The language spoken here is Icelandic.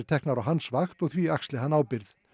teknar á hans vakt og því axli hann ábyrgð